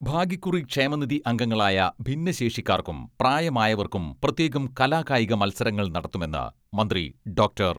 ഭാഗ്യക്കുറി ക്ഷേമനിധി അംഗങ്ങളായ ഭിന്നശേഷിക്കാർക്കും പ്രായമായവർക്കും പ്രത്യേകം കലാകായിക മത്സരങ്ങൾ നടത്തുമെന്ന് മന്ത്രി ഡോക്ടർ